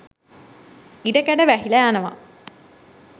ඉඩකඩ වැහිලා යනවා.